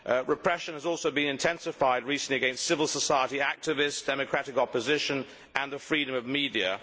Repression has also been intensified recently against civil society activists, democratic opposition and the freedom of the media.